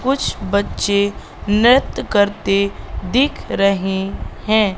कुछ बच्चे नृत्य करते दिख रहे हैं।